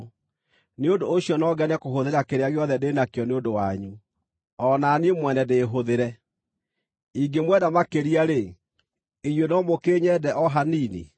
Nĩ ũndũ ũcio no ngene kũhũthĩra kĩrĩa gĩothe ndĩ nakĩo nĩ ũndũ wanyu, o na niĩ mwene ndĩĩhũthĩre. Ingĩmwenda makĩria-rĩ, inyuĩ no mũkĩnyende o hanini?